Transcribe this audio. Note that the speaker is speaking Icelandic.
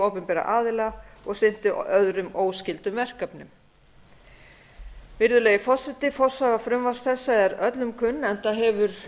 opinberra aðila og sinntu öðrum óskyldum verkefnum virðulegi forseti forsaga frumvarps þessa er öllum kunn enda hefur